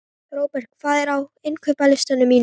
Robert, hvað er á innkaupalistanum mínum?